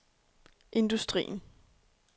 industrien